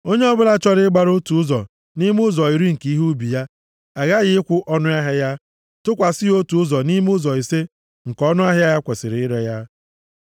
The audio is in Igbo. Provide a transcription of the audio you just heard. Onye ọbụla chọrọ ịgbara otu ụzọ nʼime ụzọ iri nke ihe ubi ya aghaghị ịkwụ ọnụahịa ya, tụkwasị ya otu ụzọ nʼime ụzọ ise nke ọnụahịa e kwesiri ire ya.